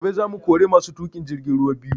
Gobe za mu kori masu tuƙa jirgin ruwa biyu